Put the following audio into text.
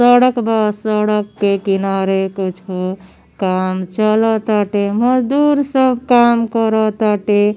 सड़क बा। सड़क के किनारे कुछु काम चलताटे। मजदूर सब काम करताटे।